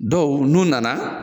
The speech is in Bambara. Donku n'u nana.